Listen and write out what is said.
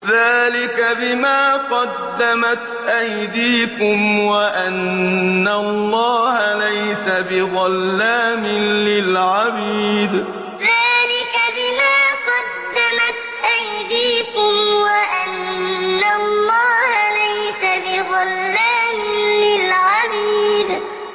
ذَٰلِكَ بِمَا قَدَّمَتْ أَيْدِيكُمْ وَأَنَّ اللَّهَ لَيْسَ بِظَلَّامٍ لِّلْعَبِيدِ ذَٰلِكَ بِمَا قَدَّمَتْ أَيْدِيكُمْ وَأَنَّ اللَّهَ لَيْسَ بِظَلَّامٍ لِّلْعَبِيدِ